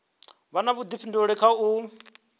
vha na vhuḓifhinduleli kha u